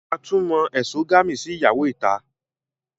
A tún mo ẹ̀sogami sí ìyàwó ìta